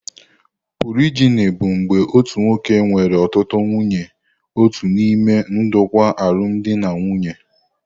Polijini bụ mgbe otu nwoke nwere ọtụtụ nwunye otu n'ime ndokwa alụmdi na nwunye.